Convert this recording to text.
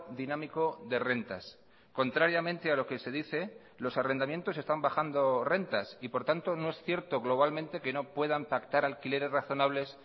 dinámico de rentas contrariamente a lo que se dice los arrendamientos están bajando rentas y por tanto no es cierto globalmente que no puedan pactar alquileres razonables